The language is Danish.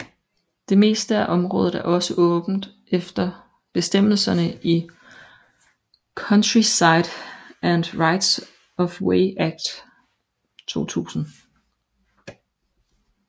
Det meste af området er også åbent efter bestemmelserne i Countryside and Rights of Way Act 2000